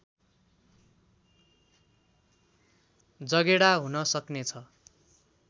जगेडा हुन सक्ने छ